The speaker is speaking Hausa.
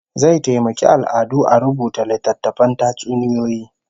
Zai taimaki al'adu a rubuta littatttafan tatsuniyoyi